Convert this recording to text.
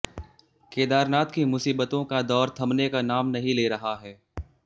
केदारनाथ की मुसीबतों का दौर थमने का नाम नहीं ले रहा है